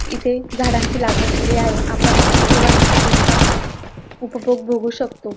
इथे झाडांची लागवण केली आहे आपण इथे वनस्पतींचा उपभोग भोगू शकतो.